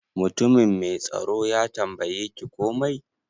Mutumin mai tsaro ya tambaye ki komai?